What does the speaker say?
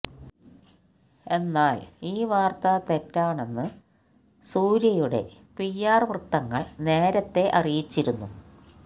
എന്നാൽ ഈ വാർത്ത തെറ്റാണെന്ന് സൂര്യയുടെ പി ആർ വൃത്തങ്ങൾ നേരത്തേ അറിയിച്ചിരുന്നു